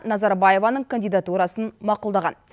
назарбаеваның кандидатурасын мақұлдаған